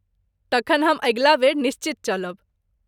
तखन हम अगिला बेर निश्चित चलब।